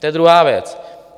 To je druhá věc.